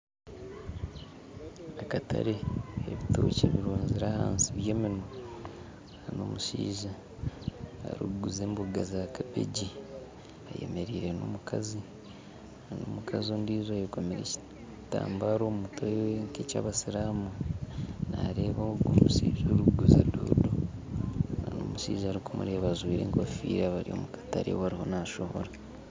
Nindeeba akatare ebitookye birunzire ahansi ebyeminwa nana omushaija arikuguza emboga za kabegi ayemereire nomukazi omukazi ondiijo ayeekomire ekitambara omumutwe nkekyabasiramu nareeba omushaija ogu arikuguza doodo nana omushaija arikumureeba ajwaire enkofiira bari omukatare we ariyo nashohora